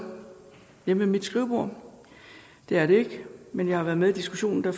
hjemme ved mit skrivebord det er det ikke men jeg har været med i diskussionen der